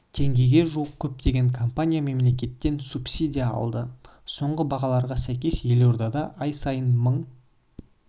теңгеге жуық көптеген компания мемлекеттен субсидия алды соңғы бағаларға сәйкес елордада ай сайын мың